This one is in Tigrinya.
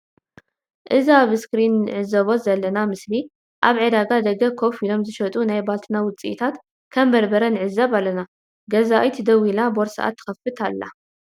እዚ ኣብ እስክሪን ንዕዘቦ ዘለና ምስሊ ኣብ ዕዳጋ ደገ ከፍ ኢሎም ዝሸጡ ናይ ባልትና ውጽኢታት ከም በርበረ ንዕዘብ ኣለና ገዛኢት ደው ኢላ ቦርስኣ ትከፍት ኣላ።